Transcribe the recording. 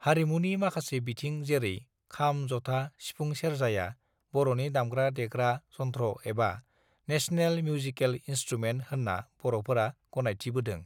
हारिमुनि माखासे बिथिं जेरै खाम जथा सिफुं सेरजाया बरनि दामग्रा देग्रा जन्थ्रएबा नेसनेल मिउजिकेल इन्सथ्रुमेन्ट होनना बरफोरा गनायथिबोदों